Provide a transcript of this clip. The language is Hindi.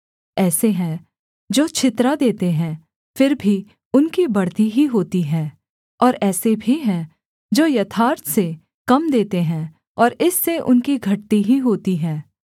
ऐसे हैं जो छितरा देते हैं फिर भी उनकी बढ़ती ही होती है और ऐसे भी हैं जो यथार्थ से कम देते हैं और इससे उनकी घटती ही होती है